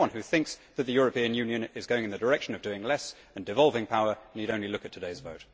Anyone who thinks that the European Union is going in the direction of doing less and devolving power need only look at today's vote.